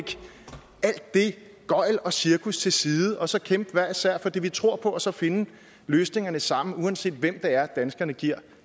gøgl og cirkus til side og så kæmpe hver især for det vi tror på og så finde løsningerne sammen uanset hvem det er danskerne giver